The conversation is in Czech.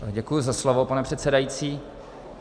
Děkuji za slovo, pane předsedající.